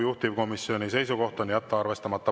Juhtivkomisjoni seisukoht on jätta arvestamata.